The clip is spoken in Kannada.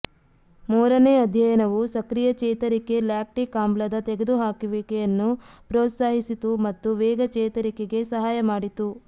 ಮೂರನೇ ಅಧ್ಯಯನವು ಸಕ್ರಿಯ ಚೇತರಿಕೆ ಲ್ಯಾಕ್ಟಿಕ್ ಆಮ್ಲದ ತೆಗೆದುಹಾಕುವಿಕೆಯನ್ನು ಪ್ರೋತ್ಸಾಹಿಸಿತು ಮತ್ತು ವೇಗ ಚೇತರಿಕೆಗೆ ಸಹಾಯ ಮಾಡಿತು